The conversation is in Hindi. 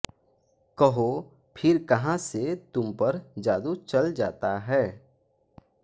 कहो फिर कहाँ से तुमपर जादू चल जाता है